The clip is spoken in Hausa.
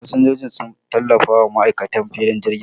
Fasinjiji sun tallafawa ma'aikatan filin jirgi